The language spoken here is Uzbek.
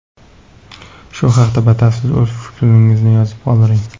Shu haqda batafsil o‘z fikrlaringizni yozib qoldiring.